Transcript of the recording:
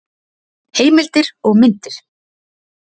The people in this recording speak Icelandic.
Heimildir og myndir: